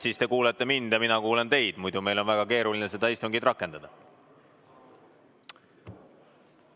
Siis te kuulete mind ja mina kuulen teid, muidu on meil väga keeruline seda istungit rakendada.